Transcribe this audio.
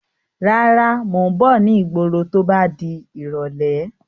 Rárá, Mo ń bọ̀ ni ìgboro to bá di irọ̀lẹ́.